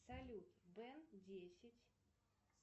салют бен десять